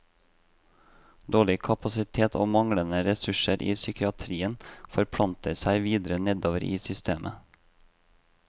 Dårlig kapasitet og manglende ressurser i psykiatrien forplanter seg videre nedover i systemet.